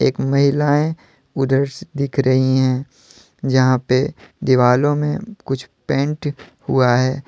एक महिलाएं है उधर दिख रही हैं । जहाँ पे दीवालों में कुछ पेंट हुआ है।